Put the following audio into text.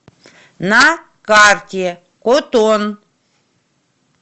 на карте котон